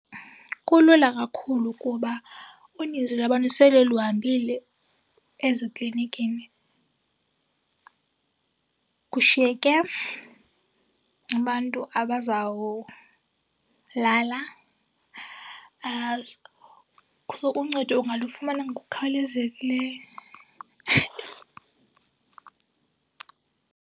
Kulula kakhulu kuba uninzi lwabantu sele luhambile eziklinikini kushiyeke abantu abazawulala. So uncedo ungalufumana ngokukhawulezekileyo.